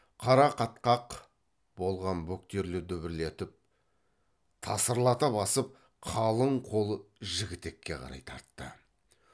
қара қатқақ болған бөктерлі дүбірлетіп тасырлата басып қалың қол жігітекке қарай тартты